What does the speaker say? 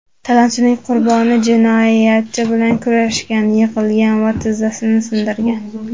Talonchilik qurboni jinoyatchi bilan kurashgan, yiqilgan va tizzasini sindirgan.